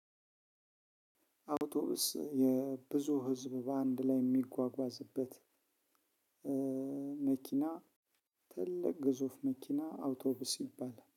አውቶቡስ የብዙ ህዝብ በአንድ ላይ የሚጓጓዝበት መኪና ትልቅ ግዙፍ መኪና አውቶቡስ ይባላል